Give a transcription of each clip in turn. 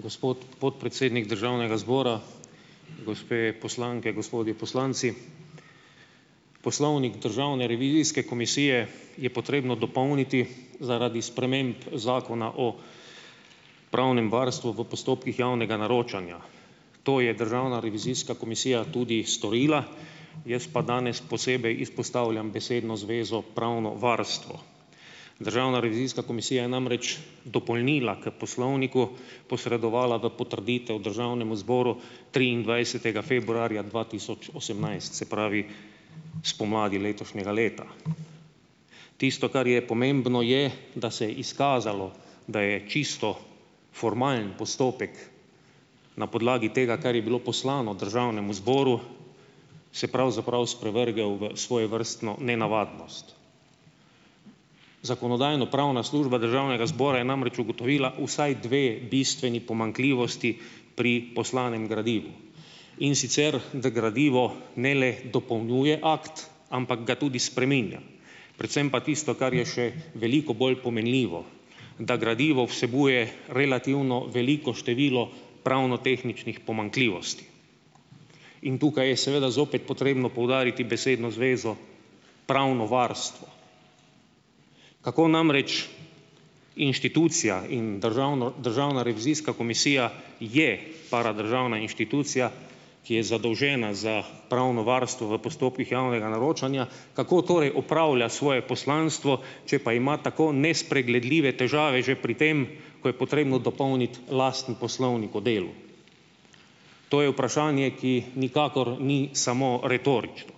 Gospod podpredsednik državnega zbora, gospe poslanke, gospodi poslanci. Poslovnik Državne revizijske komisije je potrebno dopolniti zaradi sprememb Zakona o pravnem varstvu v postopkih javnega naročanja. To je Državna revizijska komisija tudi storila, jaz pa danes posebej izpostavljam besedo zvezo 'pravno varstvo'. Državna revizijska komisija je namreč dopolnila k poslovniku posredovala v potrditev državnemu zboru triindvajsetega februarja dva tisoč osemnajst, se pravi spomladi letošnjega leta. Tisto, kar je pomembno, je, da se je izkazalo, da je čisto formalen postopek na podlagi tega, kar je bilo poslano državnemu zboru, se pravzaprav sprevrgel v svojevrstno nenavadnost. Zakonodajno-pravna služba Državnega zbora je namreč ugotovila vsaj dve bistveni pomanjkljivosti pri poslanem gradivu, in sicer da gradivo ne le dopolnjuje akt, ampak ga tudi spreminja. Predvsem pa tisto, kar je še veliko bolj pomenljivo, da gradivo vsebuje relativno veliko število pravnotehničnih pomanjkljivosti. In tukaj je seveda zopet potrebno poudariti besedno zvezo 'pravno varstvo'. Kako namreč, inštitucija in Državno Državna revizijska komisija je paradržavna inštitucija, ki je zadolžena za pravno varstvo v postopkih javnega naročanja, kako torej opravlja svoje poslanstvo, če pa ima tako nespregledljive težave že pri tem, ko je potrebno dopolniti lastni poslovnik o delu. To je vprašanje, ki nikakor ni samo retorično.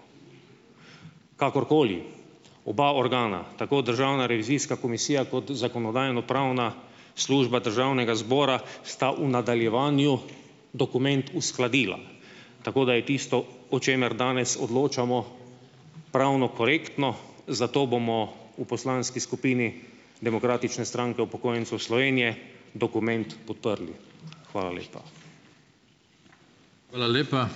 Kakorkoli, oba organa, tako Državna revizijska komisija kot Zakonodajno-pravna služba Državnega zbora sta v nadaljevanju dokument uskladila, tako da je tisto, o čemer danes odločamo, pravno korektno. Zato bomo v poslanski skupini Demokratične stranke upokojencev Slovenije dokument podprli. Hvala lepa.